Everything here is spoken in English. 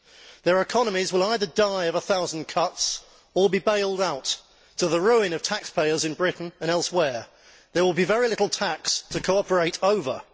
Their economies will either die of a thousand cuts or be bailed out, to the ruin of taxpayers in Britain and elsewhere. There will be very little tax to cooperate over.